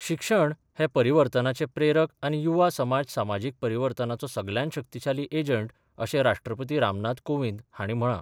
शिक्षण हे परिवर्तनाचे प्रेरक आनी युवा समाज समाजीक परिवर्तनाचो सगल्यांत शक्तीशाली एजंट अशें राष्ट्रपती रामनाथ कोविंद हांणी म्हळां.